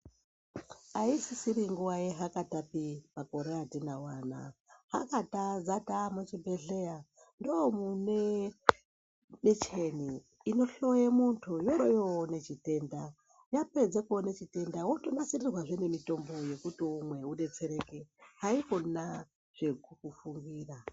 Aisisiri nguva yehakatapi makore atinawo anaya hakata dzataa muchibhedhlera ndomune michini inohloye muntu yoroyoone chitenda yapedza kuone chitenda wotonasirirwazve nemitombo yekuti umwe udetsereke haikona zvekumbofungira.